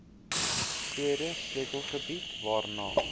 tweede sleutelgebied waarna